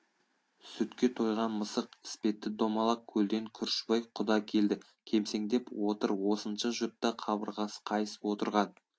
сүтке тойған мысық іспетті домалақ көлден күржібай құда келді кемсеңдеп отыр осынша жұртта қабырғасы қайысып отырған